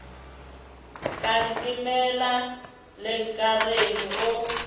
ka ntemela le nkareng o